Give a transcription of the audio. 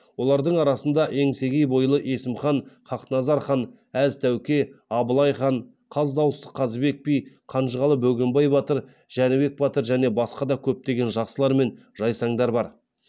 олардың арасында еңсегей бойлы есімхан хақназар хан әз тәуке абылай хан қаз дауысты қазыбек би қанжығалы бөгенбай батыр жәнібек батыр және басқа да көптеген жақсылар мен жайсаңдар бар